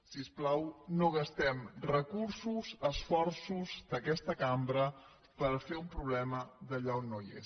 si us plau no gastem recursos esforços d’aquesta cambra per fer un problema allà on no hi és